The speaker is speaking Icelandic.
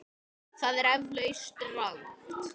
Það er eflaust rangt.